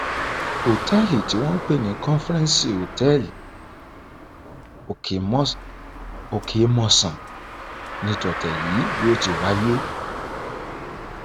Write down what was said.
ọtẹẹlì tí wọn ń pè ní conference hotel okemọsán ní tọtẹ yìí ti wáyé